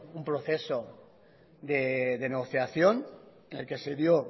un proceso de negociación en el que se dio